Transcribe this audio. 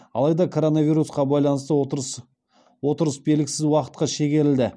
алайда коронвирусқа байланысты отырыс белгісіз уақытқа шегерілді